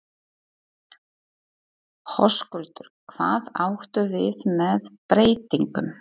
Höskuldur: Hvað áttu við með breytingum?